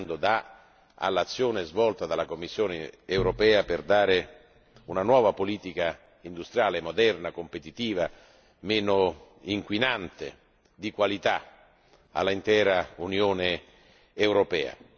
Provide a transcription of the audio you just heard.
dà all'azione svolta dalla Commissione europea, per dare una nuova politica industriale moderna, competitiva, meno inquinante e di qualità all'intera Unione europea.